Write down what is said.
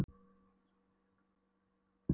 Einsog það séu flugur á fleygiferð í holdinu.